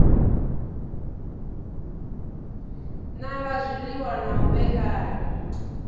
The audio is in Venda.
nanga zwiliṅwa na u vhekanya